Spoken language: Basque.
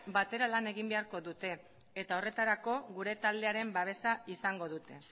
batera lan egin beharko dute eta horretarako gure taldearen babesa izango dute